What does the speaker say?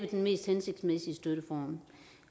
den mest hensigtsmæssige støtteform